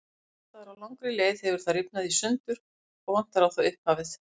Einhvers staðar á langri leið hefur það rifnað í sundur og vantar á það upphafið.